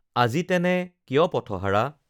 আজি তেনে কিয় পথহাৰা